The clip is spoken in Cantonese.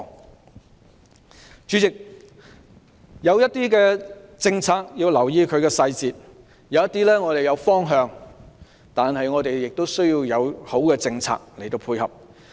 代理主席，有些政策要留意其細節，而即使我們有方向，但亦要有好的政策配合。